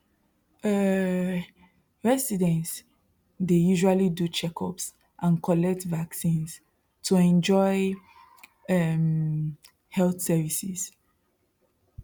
um residents dey usually do checkups and collect vaccines to enjoy um health services